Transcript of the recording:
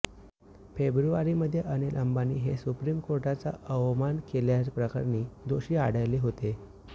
फेब्रुवारीमध्ये अनिल अंबानी हे सुप्रीम कोर्टाचा अवमान केल्याप्रकरणी दोषी आढळले होते